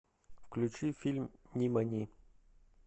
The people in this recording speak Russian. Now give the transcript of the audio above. включи фильм нимани